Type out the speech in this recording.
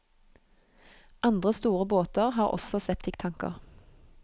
Andre store båter har også septiktanker.